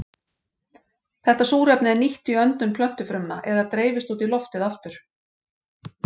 Þetta súrefni er nýtt í öndun plöntufrumna eða dreifist út í loftið aftur.